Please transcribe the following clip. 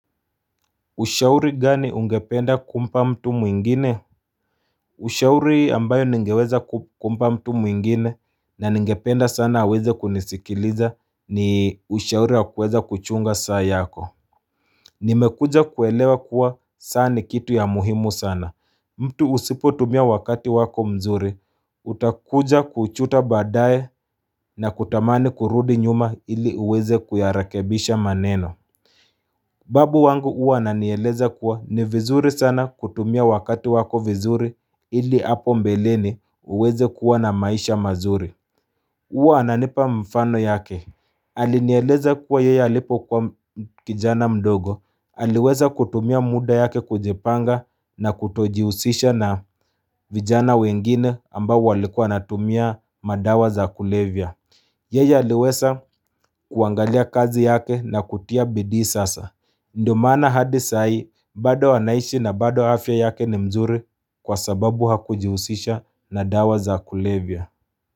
Ushauri gani ungependa kumpa mtu mwingine Ushauri ambayo ningeweza kumpa mtu mwingine na ningependa sana aweze kunisikiliza ni ushauri wa kuweza kuchunga saa yako Nimekuja kuelewa kuwa saa ni kitu ya muhimu sana mtu usipo tumia wakati wako mzuri utakuja kujuta baadae na kutamani kurudi nyuma ili uweze kuyarakebisha maneno Babu wangu huwa ananieleza kuwa ni vizuri sana kutumia wakati wako vizuri ili hapo mbeleni uweze kuwa na maisha mazuri huwa ananipa mfano yake Alinieleza kuwa yeye alipo kwa kijana mdogo Aliweza kutumia muda yake kujipanga na kutojihusisha na vijana wengine ambao walikua wanatumia madawa za kulevya Yeye aliweza kuangalia kazi yake na kutia bidii sasa Ndio maana hadi sai bado anaishi na bado afya yake ni mzuri kwa sababu hakujihusisha na dawa za kulevya.